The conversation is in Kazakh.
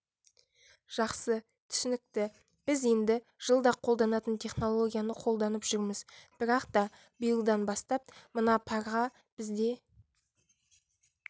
жақсы түсінікті біз енді жылда қолданатын технологияны қолданып жүрміз бірақ та биылдан бастап мына парға бізде